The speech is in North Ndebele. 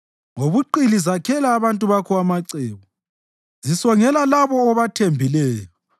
Ngobuqili zakhela abantu bakho amacebo; zisongela labo obathembileyo.